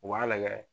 U b'a lajɛ